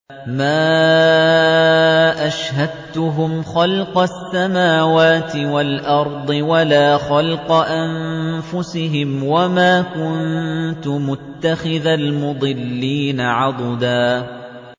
۞ مَّا أَشْهَدتُّهُمْ خَلْقَ السَّمَاوَاتِ وَالْأَرْضِ وَلَا خَلْقَ أَنفُسِهِمْ وَمَا كُنتُ مُتَّخِذَ الْمُضِلِّينَ عَضُدًا